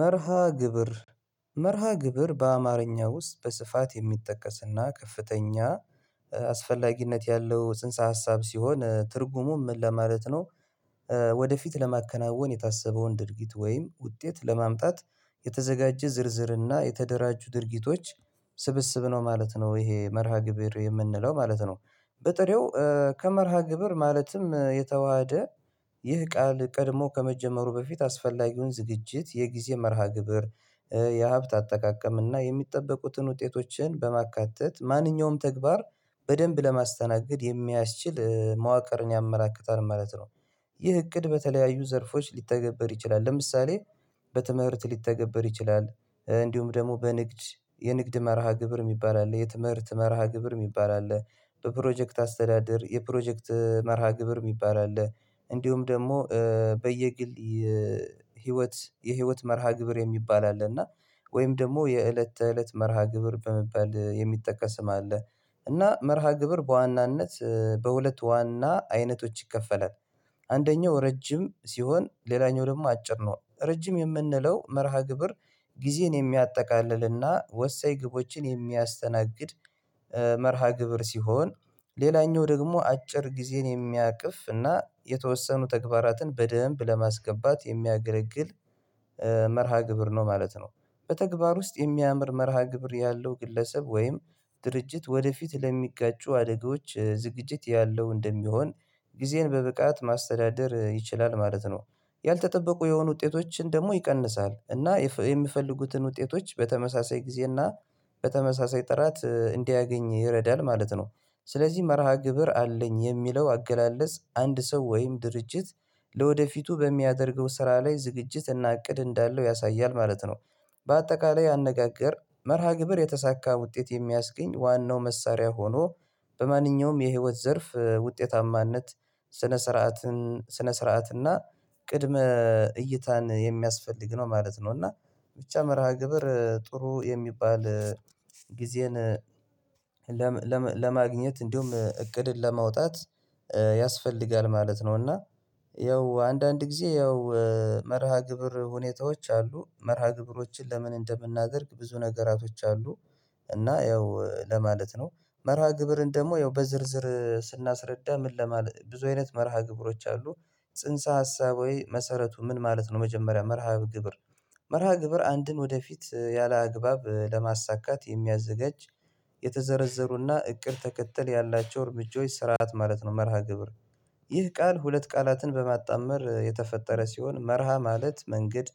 መርሃ ግብር መርሃ ግብር በአማርኛ ውስጥ በስፋት የሚጠቀስና ከፍተኛ አስፈላጊነት ያለው ጽንሰ ሀሳብ ሲሆን ትርጉሙ ምን ለማለት ነው? ወደፊት ለማከናወን የታሰበውን ድርጊት ወይም ውጤት ለማምጣት የተዘጋጀ ዝርዝርና የተደራጁ ድርጊቶች ስብስብ ነው ማለት ነው ይሄ መርሃ ግብር የምንለው ማለት ነው። በጥሬው ከመርሃ ግብር ማለትም የተዋሃደ ይህ ቃል ቀድሞ ከመጀመሩ በፊት አስፈላጊውን ዝግጅት የጊዜ መርሃ ግብር የሀብት አጠቃቀም እና የሚጠበቁትን ውጤቶችን በማካተት ማንኛውም ተግባር በደንብ ለማስተናገድ የሚያስችል መዋቅርን ያመራክታል ማለት ነው። ይህ እቅድ በተለያዩ ዘርፎች ሊተገበር ይችላል ለምሳሌ በትምህርት ሊተገበር ይችላል እንዲሁም ደግሞ በንግድ የንግድ መርሃ ግብር የሚባል አለ የትምህርት መርሃ ግብር የሚባል አለ። በፕሮጀክት አስተዳደር የፕሮጀክት መርሃ ግብር የሚባል አለ። እንዲሁም ደግሞ በየግል ህይወት የህይወት መርሃ ግብር የሚባል አለ እና ወይም ደግሞ የእለት ተእለት መርሃ ግብር በመባል የሚጠቀስ ስም አለ። እና መርሃ ግብር በዋናነት በሁለት ዋና አይነቶች ይከፈላል። አንደኛው ረጅም ሲሆን ሌላኛው ደግሞ አጭር ነው ረጅም የምንለው መርሃ ግብር ጊዜን የሚያጠቃልልና ወሳኝ ግቦችን የሚያስተናግድ መርሃ ግብር ሲሆን። ሌላኛው ደግሞ አጭር ጊዜን የሚያቅፍ እና የተወሰኑ ተግባራትን በደንብ ለማስገባት የሚያገረግል መርሃ ግብር ነው ማለት ነው። በተግባር ውስጥ የሚያምር መርሃ ግብር ያለው ግለሰብ ወይም ድርጅት ወደፊት ለሚጋጩ አደጋዎች ዝግጅት ያለው እንደሚሆን ጊዜን በብቃት ማስተዳደር ይችላል ማለት ነው። ያልተጠበቁ የሆኑ ውጤቶችን ደግሞ ይቀንሳል እና የምፈልጉትን ውጤቶች በተመሳሳይ ጊዜና በተመሳሳይ ጥራት እንዲያገኝ ይረዳል ማለት ነው። ስለዚህ መርሃ ግብር አለኝ የሚለው አገላለጽ አንድ ሰው ወይም ድርጅት ለወደፊቱ በሚያደርገው ስራ ላይ ዝግጅት እና እቅድ እንዳለው ያሳያል ማለት ነው። በአጠቃላይ አነጋገር መርሃ ግብር የተሳካ ውጤት የሚያስገኝ ዋናው መሳሪያ ሆኖ በማንኛውም የህይወት ዘርፍ ውጤታማነት ስነ ስርዓትን ስነ ስርዓት እና ቅድመ እይታን የሚያስፈልግ ነው ማለት ነው። እና ብቻ መርሃ ግብር ጥሩ የሚባል ጊዜን ለማግኘት እንዲሁም እቅድን ለማውጣት ያስፈልጋል ማለት ነው። እና ያው አንዳንድ ጊዜ ያው መርሃ ግብር ሁኔታዎች አሉ መርሃ ግብሮችን ለምን እንደምናደርግ ብዙ ነገራቶች አሉ። እና ያው ለማለት ነው መርሃ ግብርን ደግሞ ያው በዝርዝር ስናስረዳ ምን ለማለት ብዙ አይነት መርሃ ግብሮች አሉ። ጽንሰ ሀሳብ ሆይ መሰረቱ ምን ማለት ነው? መጀመሪያ መርሃ ግብር መርሃ ግብር አንድን ወደፊት ያላግባብ ለማሳካት የሚያዘጋጅ የተዘረዘሩና እቅድ ተከተል ያላቸው እርምጃዎች ስርዓት ማለት ነው። መርሃ ግብር ይህ ቃል ሁለት ቃላትን በማጣመር የተፈጠረ ሲሆን መርሃ ማለት መንገድ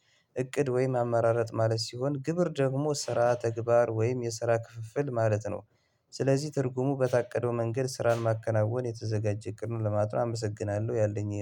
እቅድ ወይም አመራረት ማለት ሲሆን ግብር ደግሞ ስራ ተግባር ወይም የስራ ክፍፍል ማለት ነው። ስለዚህ ትርጉሙ በታቀደው መንገድ ስራን ማከናወን የተዘጋጀ እቅድ ለማለት ነው አመሰግናለሁ ያለኝ ይሄ ነው